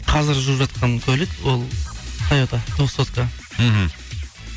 қазір жүріп жатқан көлік ол тойота двухсотка мхм